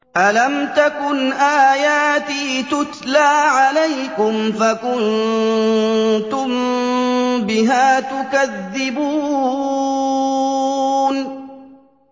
أَلَمْ تَكُنْ آيَاتِي تُتْلَىٰ عَلَيْكُمْ فَكُنتُم بِهَا تُكَذِّبُونَ